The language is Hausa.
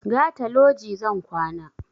Gata loji zan kwana